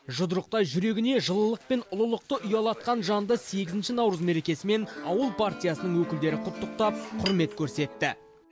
жұдырықтай жүрегіне жылылық пен ұлылықты ұялатқан жанды сегізінші наурыз мерекесімен ауыл партиясының өкілдері құттықтап құрмет көрсетті